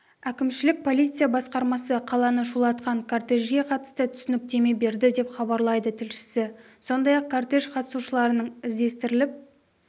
әкімшілік полиция басқармасы қаланы шулатқан кортежге қатысты түсініктеме берді деп хабарлайды тілшісі сондай-ақ кортеж қатысушыларының іздестіріліп